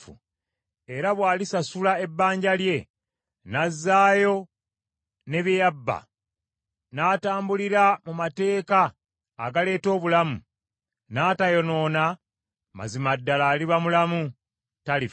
era bw’alisasula ebbanja lye, n’azaayo ne bye yabba, n’atambulira mu mateeka agaleeta obulamu, n’atayonoona, mazima ddala aliba mulamu, talifa.